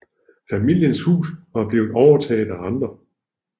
Familiens hus var blevet overtaget af andre